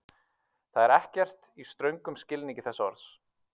Jafnan eru þessar skriftarvenjur kenndar í skólum sem hluti af grunnmenntun.